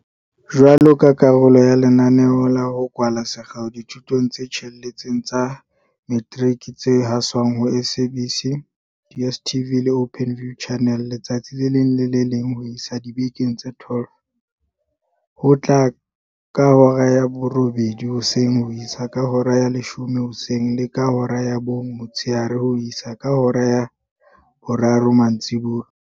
Jwaloka karolo ya lenaneo la ho kwala sekgeo dithutong tse tsheletseng tsa metiriki tse haswang ho SABC, DSTV le Openview, Channel 122, letsatsi le leng le le leng ho isa dibekeng tse 12, ho tloha ka hora ya borobedi hoseng ho isa ka hora ya leshome hoseng le ka hora ya bong motshehare ho isa ka hora ya boraro mantsibuya.